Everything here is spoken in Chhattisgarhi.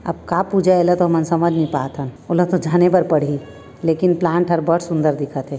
अब का पूजा है तेल तो हमन समझ नहीं पात हन वोला तो जाने ला पड़ही लेकिन प्लांट हर बड़ सुंदर दिखत हे।